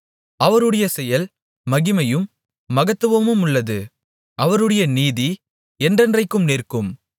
அவருடைய செயல் மகிமையும் மகத்துவமுமுள்ளது அவருடைய நீதி என்றென்றைக்கும் நிற்கும்